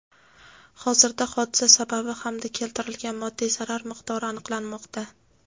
Hozirda hodisa sababi hamda keltirilgan moddiy zarar miqdori aniqlanmoqda.